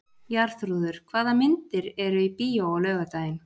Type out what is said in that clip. Jarþrúður, hvaða myndir eru í bíó á laugardaginn?